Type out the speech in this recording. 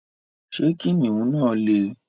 Ṣé kìnnìún náà lè?